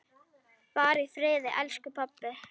Far í friði, elsku pabbi!